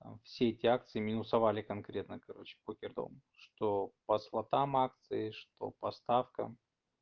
а все эти акции минусовали конкретно короче похером что по слотам акции что по ставкам